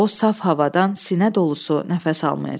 O saf havadan sinə dolusu nəfəs almayacaq.